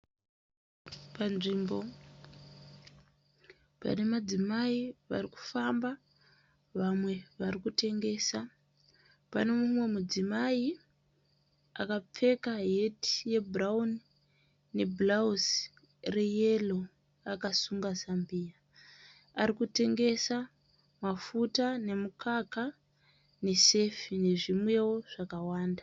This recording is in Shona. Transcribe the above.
Panzvimbo pane madzimai varikufamba vamwe varikutengesa. Pane mumwe mudzimai akapfeka heti yebhurauni nebhurauzi reyero akasunga zambiya. Arikutengesa mafuta, nemukaka nesefi nezvimwewo zvakawanda.